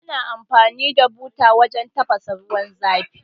Ana amfani da buta wajan tafasa ruwan zafi